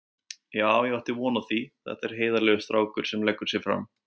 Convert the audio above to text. Já ég átti von á því, þetta er heiðarlegur strákur sem leggur sig fram.